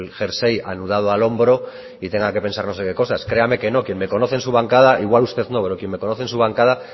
jersey anudado al hombro y tenga que pensar no sé qué cosas créame que no quien me conoce en su bancada igual usted no pero quien me conoce en su bancada